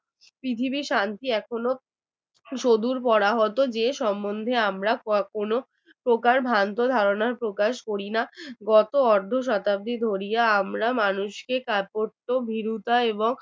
কোনরকম ভ্রান্ত ধারণা প্রকাশ করি না কত অর্ধ শতাব্দী ধরিয়া আমরা মানুষ প্রত্যহ ভীরুতা এবং